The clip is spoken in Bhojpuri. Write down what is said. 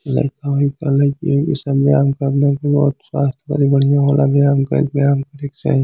लइका वोएक लेइकनि सब बयांम करने की स्वास्थ बड़ी बढियां होला बयांम करी बयांम करे के चाहीं।